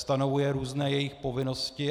Stanovuje různé jejich povinnosti.